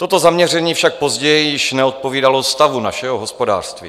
Toto zaměření však později již neodpovídalo stavu našeho hospodářství.